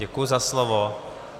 Děkuji za slovo.